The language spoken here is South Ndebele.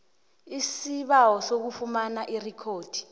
isibawo sokufumana irikhodi